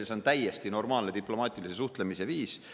See on täiesti normaalne diplomaatilise suhtlemise viis.